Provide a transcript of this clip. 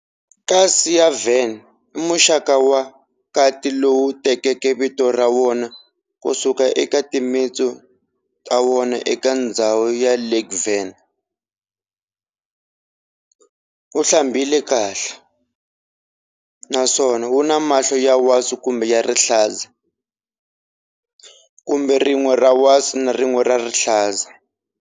Kasi ya Van i muxaka wa kati lowu tekeke vito ra wona kusuka eka timintsu ta wona eka ndzhawu ya Lake Van, wu hlambela kahle, naswona wuna mahlo ya wasi kumbe ya rihlaza, kumbe rin'we ra wasi na rin'we ra rihlaza.